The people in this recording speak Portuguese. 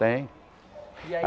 Tem. E aí